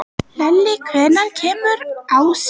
Lalli, hvenær kemur ásinn?